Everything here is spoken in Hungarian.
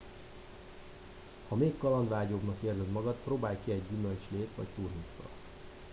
ha még kalandvágyóbbnak érzed magad próbálj ki egy gyümölcslét vagy turmixot